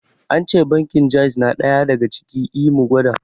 Ance bankin jaiz na ɗaya daga ciki, I mu gwada